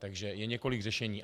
Takže je několik řešení.